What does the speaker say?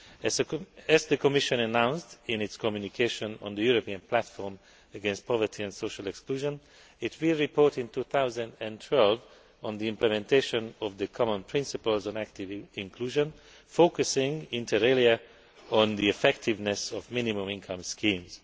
As the Commission announced in its communication on the European Platform against Poverty and Social Exclusion, it will report in 2012 on the implementation of the common principles on active inclusion, focusing, inter alia, on the effectiveness of minimum income schemes.